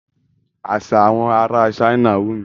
Àṣà àwọn ará China wù mí.